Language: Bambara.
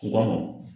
I ka